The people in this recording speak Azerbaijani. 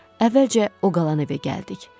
Əvvəlcə o qalan evə gəldik.